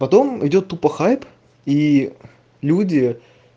потом идёт тупа хайп и люди